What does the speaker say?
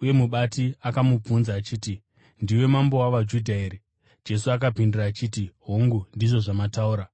uye mubati akamubvunza achiti, “Ndiwe mambo wavaJudha here?” Jesu akapindura achiti, “Hongu, ndizvo zvamataura.”